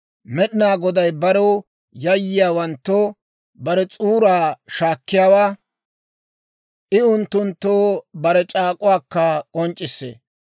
Med'inaa Goday barew yayyiyaawanttoo, bare s'uuraa shaakkiyaawaa; I unttunttoo bare c'aak'uwaakka k'onc'c'issee.